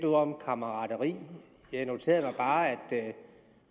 om kammerateri jeg noterede mig bare at det